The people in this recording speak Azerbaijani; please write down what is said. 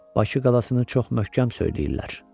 Bakı qalasını çox möhkəm söyləyirlər.